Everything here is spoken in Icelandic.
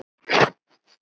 Spenna getur átt við